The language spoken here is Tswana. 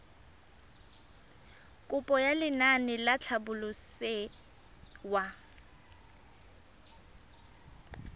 kopo ya lenaane la tlhabololosewa